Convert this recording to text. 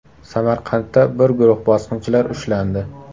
Samarqandda bir guruh bosqinchilar ushlandi.